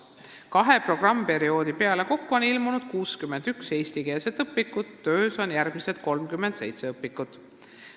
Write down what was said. Kahe programmiperioodi peale kokku on ilmunud 61 eestikeelset õpikut, töös on järgmised 37 õpikut.